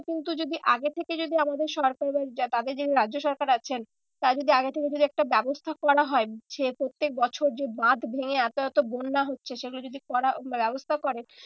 কিন্তু যদি আগে থেকে যদি আমাদের সরকার বা তাদের যে রাজ্য সরকার আছেন। তারা যদি আগে থেকে যদি একটা ব্যবস্থা করা হয় যে প্রত্যেক বছর যে বাঁধ ভেঙে এত এত বন্যা হচ্ছে সেগুলো যদি করা ব্যবস্থা করে